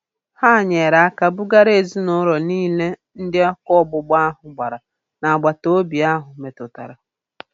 Ha nyere aka bugara ezinụlọ niile ndị ọkụ ọgbụgba ahụ gbara n'agbataobi ahụ metụtara